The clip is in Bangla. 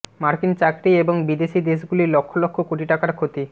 মার্কিন চাকরি এবং বিদেশী দেশগুলির লক্ষ লক্ষ কোটি টাকার ক্ষতি